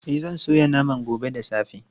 E, zan soya naman gobe da safe.